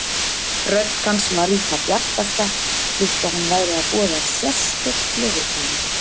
Rödd hans var í það bjartasta, líkt og hann væri að boða sérstök gleðitíðindi.